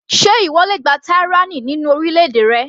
Ṣé ìwọ le gba tyranny nínú orílẹ̀-èdè rẹ.